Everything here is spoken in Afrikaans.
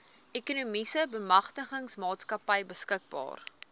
ekonomiese bemagtigingsmaatskappy beskikbaar